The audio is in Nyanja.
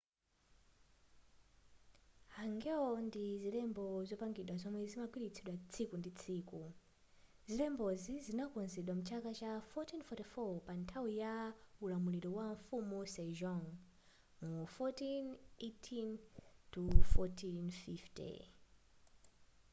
hangeul ndi zilembo zopangidwa zomwe zimagwiritsidwa tsiku ndi tsiku. zilembozi zinakonzedwa mchaka cha 1444 pa nthawi ya ulamuliro wa mfumu sejong 1418-1450